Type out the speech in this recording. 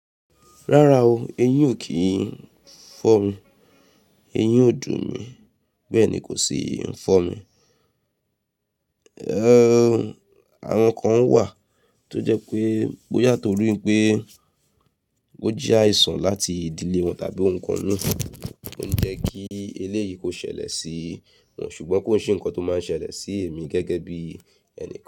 Rárá o, eyín ò kí ń fọ́ mi. Eyín ò dùn mi, bẹ́ẹ̀ ni kò sì fọ́ mi. Éh, àwọn nǹkan wà tó jẹ́ pé Bóyà tórí pé ó jẹ́ àìsàn láti ìdílé wọn tàbí nǹkan míì ló ń jẹ́ kí eléyìí kò ṣẹlẹ̀ sí wọn, ṣùgbọ́n kò sí ǹkan tó máa ń ṣẹlẹ̀ sí èmi gẹ́gẹ́ bí ẹni.